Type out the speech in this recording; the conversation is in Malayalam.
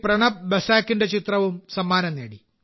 പ്രണബ് ബസാകിന്റെ ചിത്രവും സമ്മാനം നേടി